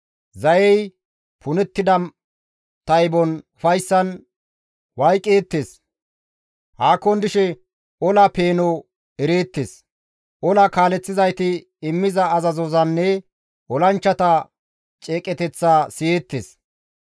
Zayey punettida taybon ufayssan wayqeettes; haakon dishe ola peeno ereettes; Ola kaaleththizayti immiza azazozanne olanchchata ceeqeteththa siyeettes.